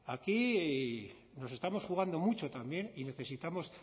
aquí nos estamos jugando mucho también y necesitamos